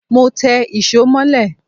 Mọ té ìsó molẹ́